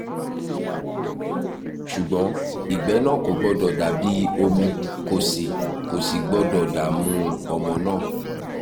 ṣùgbọ́n ìgbẹ́ náà kò gbọ́dọ̀ dàbí omi kò sì kò sì gbọ́dọ̀ dààmú ọmọ náà